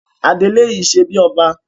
Adelé yìí ṣebí ọba.